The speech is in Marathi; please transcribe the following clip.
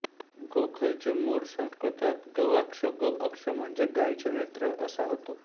गोखल चे मूळ संस्कृतात गवाक्षगो अक्ष म्हणजे गायीचे नेत्र असा होतो